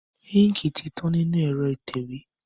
Íńkì ti tán nínú ẹ̀rọ ìtẹ̀wé.